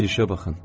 Bir işə baxın.